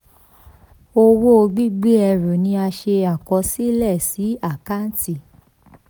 owó gbígbé ẹrù ni a ṣe àkọsílẹ̀ sí àkáǹtì.